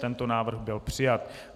Tento návrh byl přijat.